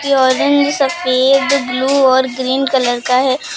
ये ऑरेंज सफेद ब्लू और ग्रीन कलर का है।